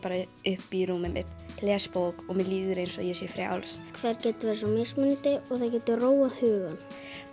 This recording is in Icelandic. upp í rúmið mitt les bók og mér líður eins og ég sé þá frjáls það getur verið svo mismunandi og það getur róað hugann